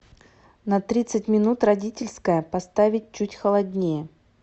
на тридцать минут родительская поставить чуть холоднее